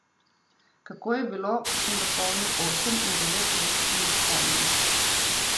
Kako je bilo, ko sem dopolnil osem in devet let, se ne spomnim.